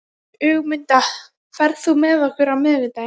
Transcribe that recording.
Ögmunda, ferð þú með okkur á miðvikudaginn?